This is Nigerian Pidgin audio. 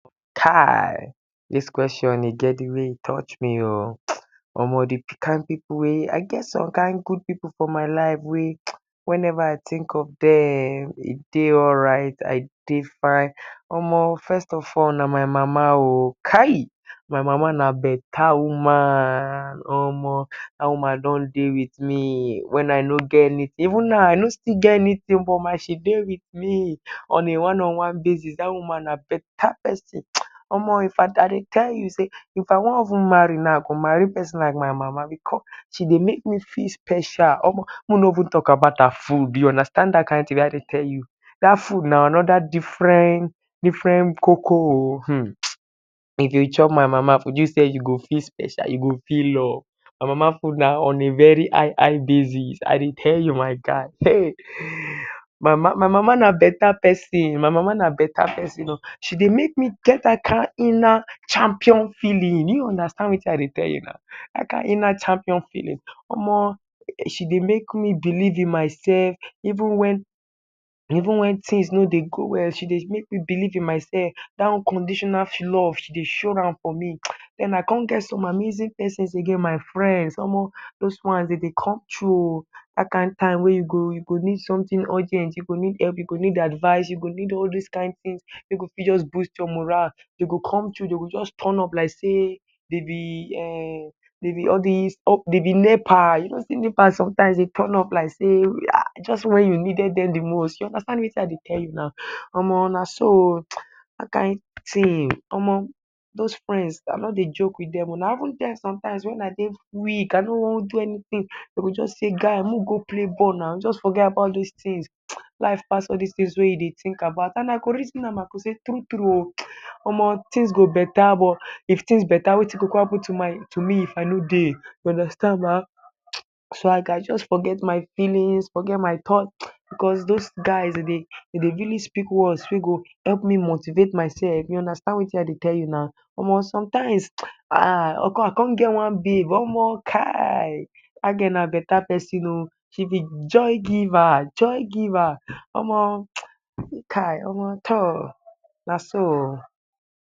Kai dis question e get di way e touch me o, some kain pipu wey I get some kain good pipu for my life wey wen ever I tink of dem I dey alright I dey fine, omo first of all na my mama o. kai my mama na beta woman omo dat woman don dey wit me even wen I no get anytin, even now I no still get anytin but na she dey wit me, on a one on one basis dat woman na beta pesin. Omo if I I dey tell you sey if I wan even marry now I go marry pesin like my mama because she dey make me feell special, make we no even talk about her food you understand dat kain tin wey I dey tell you. Dat food na anoda different different koko o um if you chop my mama food you self you go feel special, you go feel loved, my mama food na on a very high high bases I dey tell you my guy. My my mama na beta pesin, my mama na beta pesin o, she dey make me get dat kain inner champion feeling, you understand watin I dey tell you now. Dat kain inner champion feeling, omo she dey make me believe in myself even wen even wen tins no dey go well she dey make me believe in myself dat unconditional love she dey show am for me. den I come get some amazing pesin again, omo dose ones dem dey come through o, dat kain time wey you go you go need somtin urgent you go need help you go need advise, you go need some kain tins wey go fit just boost your moral dem go just turn up like sey dem be um de be all dis up, dey be nepa, you go see nepa sometimes go turn up like sey, just wen you needed dem di most, you understamd watin I dey tell you now, omo na so o, you understand dat kain tin.omo dose friends I noo dey joke wit dem o, na even dem sometimes wen I dey week wen I no wan do anytin dem g say guy make we go play ball now, just forget about dis tins, life pass all dis tins wey you dey tink about and I go reason am and I go sey true true omo tins go beta but if tins beta watin go come happen to me if I no dey you understand ba? So I gas just forget my feelings, forget my thoughts because dose guys dem dey really speak words wey go help me motivate myself, you understand watin I dey tell you now. Omo sometimes I I come get one big babe, omo kai dat gal na beta pesin oo, she be joy giver joy giver. Omo kai, omo toor, na so o